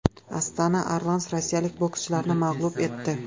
Astana Arlans rossiyalik bokschilarni mag‘lub etdi.